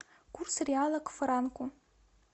курс реала к франку